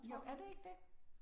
Jo, er det ikke det?